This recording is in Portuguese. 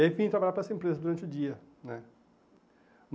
E aí vim trabalhar para essa empresa durante o dia, né?